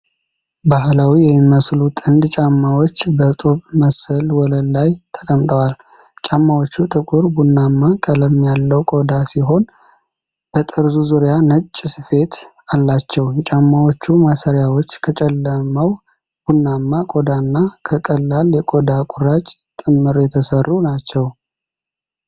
ባህላዊ የሚመስሉ ጥንድ ጫማዎች በጡብ መሰል ወለል ላይ ተቀምጠዋል። ጫማዎቹ ጥቁር ቡናማ ቀለም ያለው ቆዳ ሲሆን በጠርዙ ዙሪያ ነጭ ስፌት አላቸው። የጫማዎቹ ማሰሪያዎች ከጨለማው ቡናማ ቆዳ እና ከቀላል የቆዳ ቁራጭ ጥምር የተሰሩ ናቸው።